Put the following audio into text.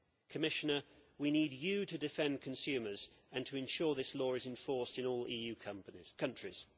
Commissioner, we need you to defend consumers and to ensure this law is enforced in all EU countries.